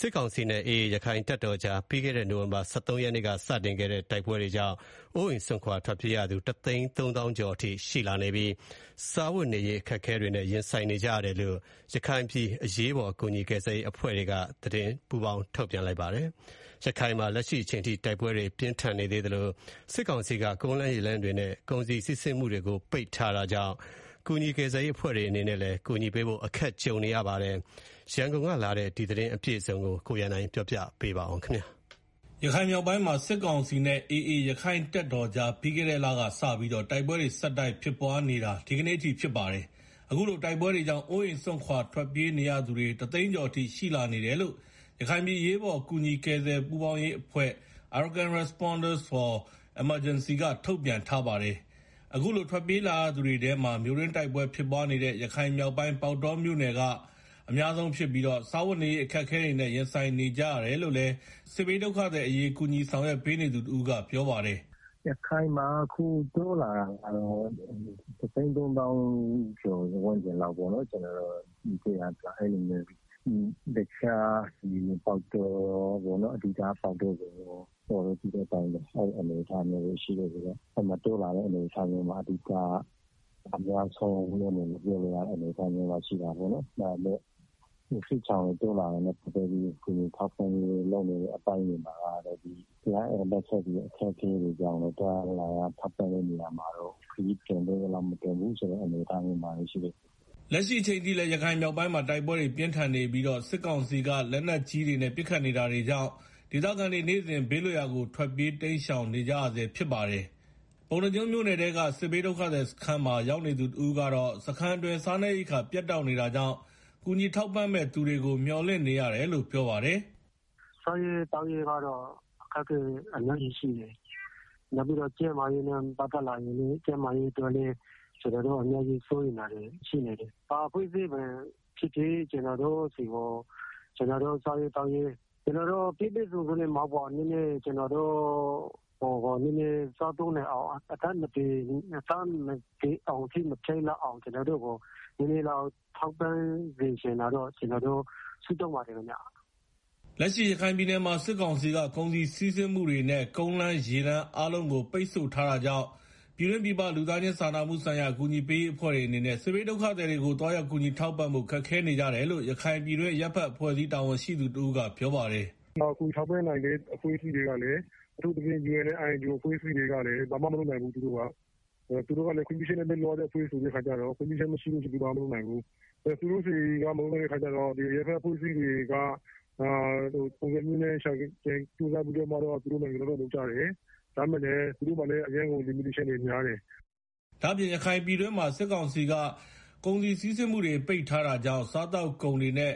စစ်ကောင်စီနဲ့ AA ရက္ခိုင့်တပ်တော်ကြား ပြီးခဲ့တဲ့ နိုဝင်ဘာလ ၁၃ ရက်နေ့က စတင်ခဲ့တဲ့ တိုက်ပွဲတွေကြောင့် အိုးအိမ့်စွန်ခွာ ထွက်ပြေးနေရသူ တသိန်း သုံးသောင်းကျော် အထိရှိလာနေပြီး စားဝတ် နေရေး အခက်အခဲတွေနဲ့ ရင်ဆိုင်နေကြရတယ်လို့ ရခိုင်ပြည်အရေးပေါ် ကူညီကယ် ဆယ်ရေး ပူးပေါင်းအဖွဲ့ က ထုတ်ပြန်ထားပါတယ်။ ရခိုင်မှာ လက်ရှိအချိန်ထိ တိုက်ပွဲတွေ ပြင်းထန်နေသေးသလို စစ်ကောင်စီက ကုန်လမ်းရေလမ်းတွေနဲ့ ကုန်စည်စီး ဆင်းမှုတွေကို ပိတ်ထား တာကြောင့် ကူညီကယ်ဆယ်ရေး အဖွဲ့တွေအနေနဲ့လည်း ကူညီပေးဖို့ အခက်ကြုံ နေရတာပါ။ ရန်ကုန်ကလာတဲ့ သတင်းအပြည့်အစုံကို ကိုရန်နိုင်က တင်ပြပေးပါမယ်။ ရခိုင်မြောက်ပိုင်းမှာ စစ်ကောင်စီနဲ့ AA ရက္ခိုင့်တပ်တော်ကြား ပြီးခဲ့တဲ့ လကစပြီး တိုက်ပွဲတွေ ဆက်တိုက်ဖြစ် ပွားနေတာ ဒီကနေ့ အထိဖြစ်ပါတယ်။ အခုလို တိုက်ပွဲတွေကြောင့် အိုးအိမ်စွန့်ခွာထွက် ပြေးနေရသူတွေ ၁သိန်း ကျော်အထိရှိလာနေတယ်လို့ ရခိုင်ပြည်အရေးပေါ် ကူညီကယ် ဆယ်ရေးပူးပေါင်းအဖွဲ့ (Arakan Responders for Emergency) က ထုတ်ပြန်ထားပါတယ်။ အခုလို ထွက်ပြေးလာရသူတွေထဲမှာ မြို့တွင်းတိုက်ပွဲ ဖြစ်ပွားနေတဲ့ ရခိုင်မြောက်ပိုင်း ပေါက်တောမြို့နယ်က အများဆုံးဖြစ်ပြီး စားဝတ်နေရေး အခက်အခဲတွေနဲ့ ရင်ဆိုင်နေကြ ရတယ်လို့ စစ်ဘေးဒုက္ခသည်အရေး ကူညီဆောင်ရွက်ပေးနေ သူတဦးကပြောပါတယ်။ “ရခိုင်မှာကတော့ အခုတိုးလာတာက ၁၃ဝ ဝဝဝ ကျော်ဝန်းကျင်လောက်ပေါ့နော်၊ အဓိကတော့ ပေါက်တောကတော့တိုးလာတာ အများရှိအနေအထားမှာရှိတယ်လို့ ပြောလို့ရတယ်၊ စစ်ရှောင် တွေ တိုးလာတာနဲ့ ပတ်သတ်ပြီး ကူညီထောက်ပံ့ရေးလုပ်နေတဲ့ အပိုင်းတွေမှာလည်း လိုအပ် ချက်တွေ၊ သွားရလာရ ခက်ခဲတာတွေကြောင့် ခရီးတွင်သင့်သလောက်မတင်ဘူးဆိုတဲ့ အနေ အထားမှာရှိတယ်။” လက်ရှိအချိန်ထိလည်း ရခိုင်မြောက်ပိုင်းမှာ တိုက်ပွဲပြင်းထန်နေပြီး စစ်ကောင်စီက လက်နက်ကြီးတွေနဲ့ ပစ်ခတ်နေတာတွေကြောင့် ဒေသခံတွေ နေ့စဉ် ဘေးလွတ်ရာကို ထွက်ပြေးတိမ်ရှောင်နေကြရဆဲဖြစ်ပါတယ်။ ပုဏ္ဏားကျွန်းမြို့နယ်က စစ်ဘေးဒုက္ခသည်စခန်းမှာ ရောက်နေသူ တဦးကတော့ စခန်းအတွင်း စားနပ်ရိက္ခာ ပြတ်တောက်နေတာကြောင့် ကူညီထောက်ပံ့မယ့်သူတွေကို မျော်လင့်နေရ တယ်လို့ ပြောပါတယ်။ “စားရေး သောက်ရေးကတော့ အခက်အခဲ အများကြီးရှိတယ်၊ နောက်ပြီးတော့ ကျန်းမာရေးနဲ့ ပတ်သက် လာရင်လည်း ကျနော်တို့ အများကြီးစိုးရိမ်နေရတယ်။ ဘယ်အဖွဲ့အစည်းပဲ ဖြစ်ဖြစ် ကျနော်တို့ကို ပြည့်ပြည့်စုံစုံ မဟုတ်ရင်တောင် ကျနော်တို့ စားသုံးနိုင်အောင်၊ အသက်သေဆုံး တာတွေအထိ မဖြစ်ရအောင် ထောက်ပံ့ စေချင်တယ်လို့ ကျနော်တို့ ဆုတောင်းနေပါတယ်။” လက်ရှိရခိုင်ပြည်နယ်မှာ စစ်ကောင်စီက ကုန်စည်စီးဆင်းမှုတွေနဲ့ ကုန်းလမ်း ရေလမ်းအား လုံးကို ပိတ်ထားတာ ကြောင့် ပြည်တွင်းပြည်ပ လူသားချင်းစာနာမှုဆိုင်ရာ အကူအညီ ပေးရေးအဖွဲ့တွေအနေနဲ့ စစ်ဘေးဒုက္ခသည် တွေကိုသွားရောက်ကူညီထောက်ပံ့ဖို့ ခက်ခဲနေကြတယ်လို့ ရခိုင်ပြည်တွင်း အရပ်ဖက်အဖွဲ့အစည်း တာဝန်ရှိသူ တဦး ကပြောပါတယ်။ “ကူညီထောက်ပံ့နိုင်တဲ့ အဖွဲ့တွေကလည်း အထူးသဖြင့် UN- INGOအဖွဲ့အစည်းတွေကလည်း ဘာမှ မလုပ်နိုင်ဘူးသူတို့က သူတို့ကလည်း ခွင့်ပြုချက်နဲ့ လုပ်ရတဲ့ အဖွဲ့ဆိုတော့ ခွင့်ပြုချက် မရသရွေ့ဘာမှ မလုပ်နိုင်ဘူး သူတို့က၊ အရပ်ဖက်အဖွဲ့အစည်းတွေကတော့ သူတို့ ရှာကြံပြီး တော့ ကြိုးစားပြီးတော့ သူတို့ နိုင်သလောက် လုပ်ကြတယ်၊ ဒါပေမယ့် သူတို့မှာလည်း အရမ်းကို ကန့်သတ်ချက်တွေ များတယ်။” ဒါ့အပြင် ရခိုင်ပြည်တွင်းမှာစစ်ကောင်စီက ကုန်စည်စီးဆင်းမှုတွေကို ပိတ်ထားတာကြောင့် စားသောက်ကုန် တွေနဲ့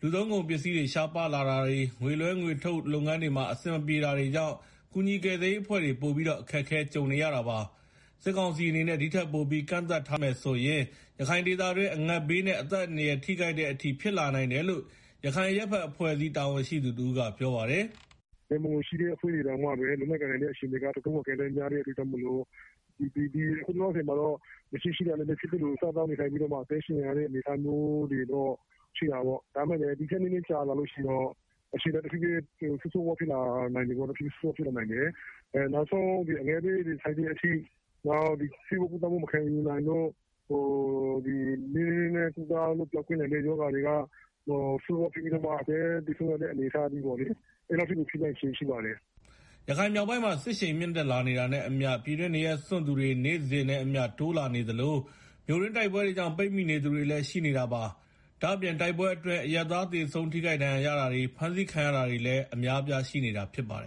လူသုံးကုန်ပစ္စည်း ရှားပါးလာတာတွေ၊ ငွေလွှဲ ငွေထုတ်လုပ်ငန်းတွေမှာ အဆင်မပြေ တာတွေကြောင့် ကူညီကယ်ရေးအဖွဲ့တွေ ပိုပြီးတော့ အခက်ကြုံနေရတာပါ။ စစ်ကောင်စီအနေနဲ့ ဒီထက်ပိုပြီးတော့ ကန့်သတ်ထား မယ်ဆိုရင် ရခိုင်ဒေသအတွင်း အငတ်ဘေးနဲ့ အသက်အန္တရာယ်ထိခိုက်တဲ့ အထိ ဖြစ်လာနိုင်တယ်လို့ ရခိုင်အရပ်ဖက်အဖွဲ့အစည်း တာဝန်ရှိသူ တဦးကပြောပါတယ်။ “ ရန်ပုံငွေ ရှိတဲ့ အဖွဲ့တွေတောင်မှ လုပ်နိုင်ကိုင်နိုင်တဲ့ အခြေအနေတွေက တော်တော့်ကို အကန့်သတ်များ တဲ့အတွက် ကြောင့်မို့လို့ အခုလောလောဆယ်မှာတော့ မရှိ ရှိတာတွေနဲ့ စားသောက်နေထိုင်ကြပြီးတော့ အသက်ရှင်နေကြတဲ့ အနေအထားမျိုးတော့ ရှိတာပေါ့၊ ဒီထက်ပိုကြာလာလို့ ရှိရင်တော့ အခြေအနေက ဆိုးဆိုးရွားရွား ဖြစ်လာနိုင်တယ်၊ နောက်ဆုံး အငတ်ဘေးတွေ ဆိုက်တဲ့ အထိ ဆေးဝါးကုသမှုမခံယူနိုင်လို့ ကုသပျောက်ကင်းနိုင် တဲ့ရောဂါတွေက အသက်သေဆုံးရတဲ့အထိကို ဖြစ်လာနိုင်ခြေရှိပါတယ်။” ရခိုင်မြောက်ပိုင်းမှာ စစ်ရှိန်မြင့်တက်လာတာနဲ့ အမျှ ပြည်တွင်းနေရပ်စွန့်သူတွေ နေ့စဉ်နဲ့ အမျှတိုးလာနေသလို မြို့တွင်း တိုက်ပွဲတွေကြောင့် ပိတ်မိနေသူတွေလည်းရှိနေတာပါ။ ဒါ့အပြင် တိုက်ပွဲ အတွင်း အရပ်သား သေဆုံး ထိခိုက်ဒဏ်ရာရတာတွေ ဖမ်းဆီးခံရ တာတွေလည်း အများအပြားရှိနေတာလည်းဖြစ်ပါတယ်